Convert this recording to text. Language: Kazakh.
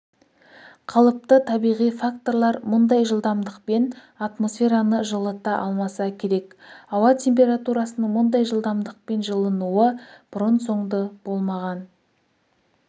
қалыпты табиғи факторлар мұндай жылдамдықпен атмосфераны жылыта алмаса керек ауа температурасының мұндай жылдамдықпен жылынуы бұрын-соңды болмаған